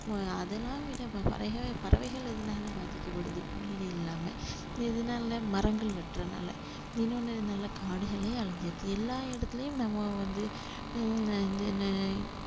அஹ் அதெல்லாம் விட இப்ப பறவை~ பறவைகள் அதனால பாதிக்கப்படுது இல்லாம எதுனால மரங்கள் வெட்டுறதுனால இன்னொன்னு எதனால காடுகளே அழிஞ்சிருது எல்லா இடத்துலயும் நம்ம வந்து உம் இந்த என்ன